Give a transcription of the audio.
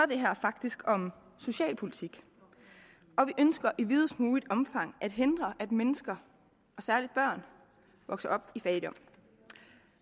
det her faktisk om socialpolitik og vi ønsker i videst muligt omfang at hindre at mennesker særlig børn vokser op i fattigdom